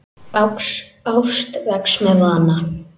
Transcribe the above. Ást vex með vana.